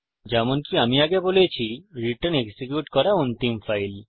যেমনকি আমি আগে বলেছি রিটার্ন হল এক্সিকিউট করা অন্তিম ফাইল